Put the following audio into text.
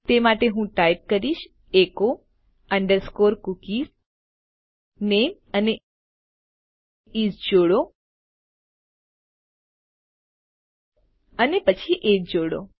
તે માટે હું ટાઇપ કરીશ એચો અંડરસ્કોર કૂકી નામે અને ઇસ જોડો અને પછી એજીઇ જોડો